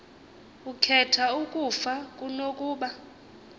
ukhetha ukufa kunokuba